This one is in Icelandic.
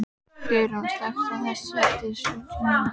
Geirrún, slökktu á þessu eftir sjötíu mínútur.